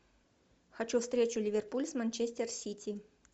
хочу встречу ливерпуль с манчестер сити